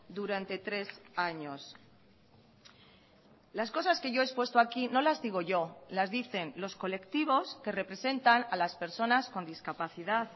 durante tres años las cosas que yo he expuesto aquí no las digo yo las dicen los colectivos que representan a las personas con discapacidad